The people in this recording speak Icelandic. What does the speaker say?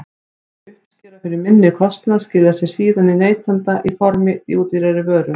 Meiri uppskera fyrir minni kostnað skilar sér síðan til neytenda í formi ódýrari vöru.